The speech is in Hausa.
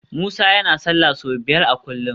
Musa yana sallah sau biyar a kullum